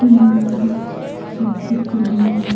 अंदर से चित्र बनाया --